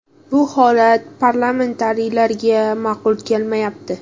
Bu holat parlamentariylarga ma’qul kelmayapti.